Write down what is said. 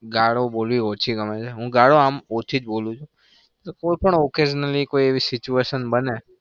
ગાળો બોલવી ઓછી ગમે છે. હું ગાળો આમ ઓછી જ બોલું છું. કોઈપણ occasionally કોઈ એવી situation બને